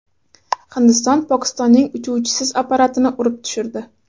Hindiston Pokistonning uchuvchisiz apparatini urib tushirdi.